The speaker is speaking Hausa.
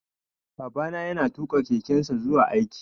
Babana ya na tuƙa kekensa zuwa aiki